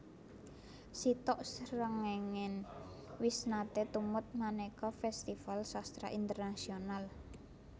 Sitok Srengenge wis nate tumut maneka festival sastra internasional